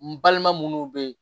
N balima munnu be yen